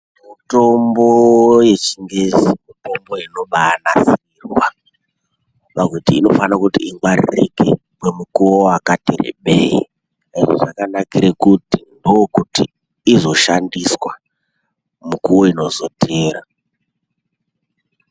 Mutombo wechingezi mutombo unoba nasirwa pakuti inofana kuti ingwaririke ngemukuwo wakati rebei ende zvakanakira kuti inoshandiswa mukuwo unozotevera.